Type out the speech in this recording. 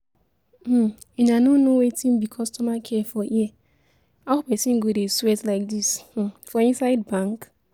um Una no know wetin be customer care for here, how person go dey sweat like this um for inside bank?